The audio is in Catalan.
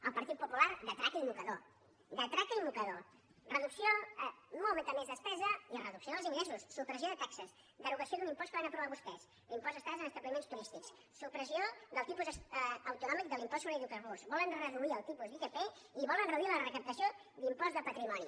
el partit popular de traca i mocador de traca i mocador molta més despesa i reducció dels ingressos supressió de taxes derogació d’un impost que van aprovar vostès l’impost d’estades en establiments turístics supressió del tipus autonòmic de l’impost sobre hidrocarburs volen reduir el tipus d’itp i volen reduir la recaptació d’impost de patrimoni